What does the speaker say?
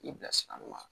I bilasira ɲuman